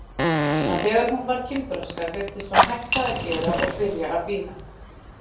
En þegar hún varð kynþroska virtist hún hætta að gera og byrja að bíða.